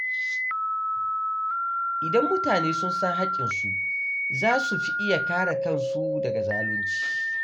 Idan mutane sun san haƙƙinsu, za su fi iya kare kansu daga zalunci.